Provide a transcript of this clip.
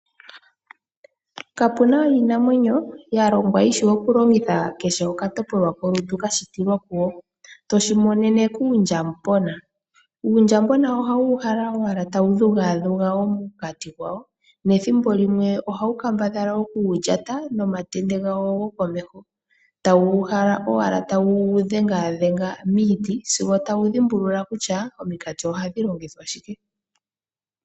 Kapuna iinamwenyo yashitwa yishi okulongitha kehe okatopolwa kolutu kashitilwa kuyo, toshimonene kuundjabona. Uundjabona oha wu uhala owala tawu dhugadhuga omukati gwawo, nethimbo limwe oha wu kambadhala oku gulyata, nomakende gawo gokomeho. Ta wu uhala owala tawu gudhengaadhenga miiti sigo ta wu dhimbulula kutya omikati oha dhi longithwa shike.